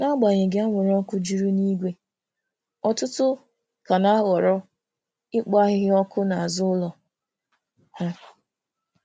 N'agbanyeghị anwụrụ ọkụ juru n'igwe, ọtụtụ ka na-ahọrọ ikpo ahịhịa ọkụ n'azụ ụlọ ha.